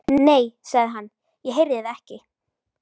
Nei, sagði hann, ég heyrði það ekki.